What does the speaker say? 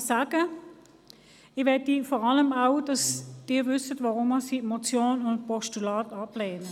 – Ich möchte vor allem, dass Sie wissen, weshalb ich Motion und Postulat ablehne.